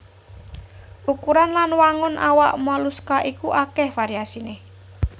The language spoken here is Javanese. Ukuran lan wangun awak moluska iku akèh variasiné